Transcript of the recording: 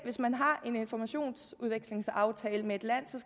hvis man har en informationsudvekslingsaftale med et land